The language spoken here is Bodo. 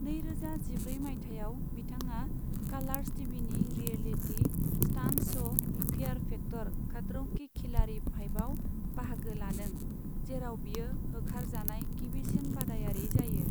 नैरोजा जिब्रै मायथाइयाव, बिथांआ कालार्स टिभिनि reality stunt show fear factor Khatron' Ke Khiladi फाइभआव बाहागो लादों, जेराव बियो होखार जानाय गिबिसिन बादायारि जायो।